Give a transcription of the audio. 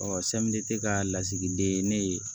ka lasigiden ne ye